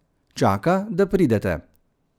Čaka, da pridete.